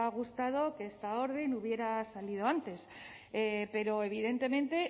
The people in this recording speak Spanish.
gustado que esta orden hubiera salido antes pero evidentemente